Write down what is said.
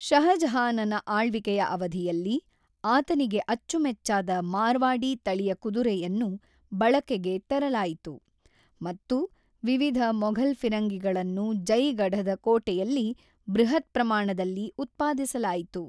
ಷಹಜಹಾನನ ಆಳ್ವಿಕೆಯ ಅವಧಿಯಲ್ಲಿ, ಆತನಿಗೆ ಅಚ್ಚುಮೆಚ್ಚಾದ ಮಾರ್ವಾಡಿ ತಳಿಯ ಕುದುರೆಯನ್ನು ಬಳಕೆಗೆ ತರಲಾಯಿತು, ಮತ್ತು ವಿವಿಧ ಮೊಘಲ್ ಫಿರಂಗಿಗಳನ್ನು ಜೈಗಢದ ಕೋಟೆಯಲ್ಲಿ ಬೃಹತ್ ಪ್ರಮಾಣದಲ್ಲಿ ಉತ್ಪಾದಿಸಲಾಯಿತು.